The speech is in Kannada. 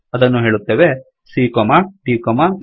ಅದನ್ನು ಹೇಳುತ್ತೇವೆ cdಇ